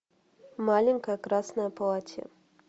маленькое красное платье